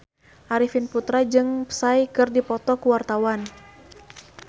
Arifin Putra jeung Psy keur dipoto ku wartawan